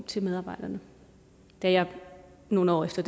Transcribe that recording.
til medarbejderne da jeg nogle år efter